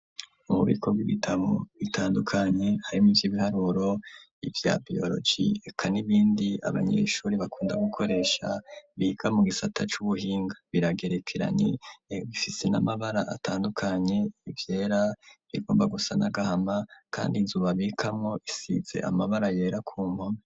Ububiko bw'ibitabo bitandukanye harimwo: ivy'ibiharuro, ivya biyoroji, reka n'ibindi abanyeshuri bakunda gukoresha biga mu gisata c'ubuhinga, biragerekeranye, bifise n'amabara atandukanye: ivyera, ibigomba gusa n'agahama, kandi inzu babibikamwo isize amabara yera ku mpome.